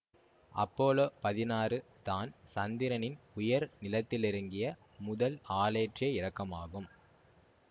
Apollo பதினாறு தான் சந்திரனின் உயர் நிலத்திலிறங்கிய முதல் ஆளேற்றிய இறக்கமாகும்